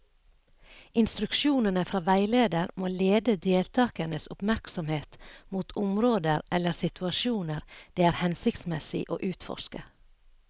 Instruksjonene fra veileder må lede deltakernes oppmerksomhet mot områder eller situasjoner det er hensiktsmessig å utforske.